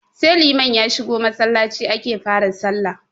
Sai liman ya shigo Masallaci ake fa ra sallah